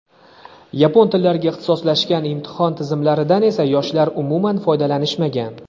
yapon tillariga ixtisoslashgan imtihon tizimlaridan esa yoshlar umuman foydalanishmagan.